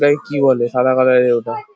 ওটাকে কি বলে সাদা কালার -এর ওটা।